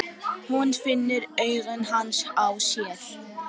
Hún finnur augu hans á sér.